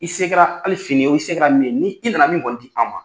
I se kɛra hali fini ye i se kɛra min ye ni i na na min kɔni di an ma.